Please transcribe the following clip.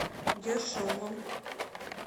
ершовом